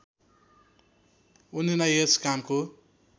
उनीलाई यस कामको